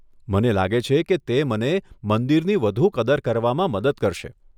મને લાગે છે કે તે મને મંદિરની વધુ કદર કરવામાં મદદ કરશે.